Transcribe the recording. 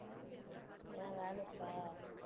ஏன் வேலை இருக்கா?